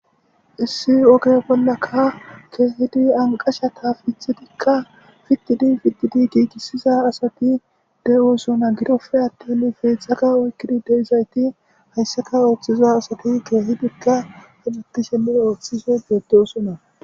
issi oge bollaka keehidi anqasha taafithitikka fiddidi fiddidi giigisiza asati dewosona gidope attin feedzxzaka oykkidi deizayti hayssaka ooththiza asati keehidikka hanattisheme ooththise beeddoosonna